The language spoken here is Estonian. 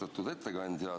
Austatud ettekandja!